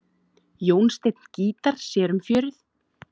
Jónsteinn gítar sér um fjörið.